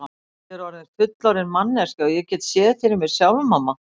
Ég er orðin fullorðin manneskja og get séð fyrir mér sjálf mamma.